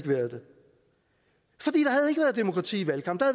været demokrati i valgkampen